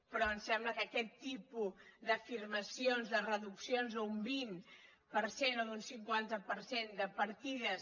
però em sembla que aquest tipus d’afirmacions de reduccions d’un vint per cent o d’un cinquanta per cent de partides